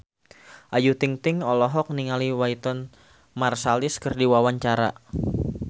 Ayu Ting-ting olohok ningali Wynton Marsalis keur diwawancara